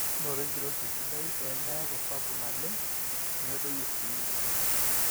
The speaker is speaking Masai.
noto enkiroshi sidai pee meeku sapuk naleng nemedoyio sii